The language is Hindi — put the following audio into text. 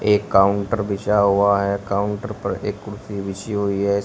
एक काउंटर बिछा हुआ है काउंटर पर एक कुर्सी बिछी हुई है।